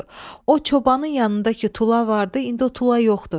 O çobanın yanındakı tula vardı, indi o tula yoxdur.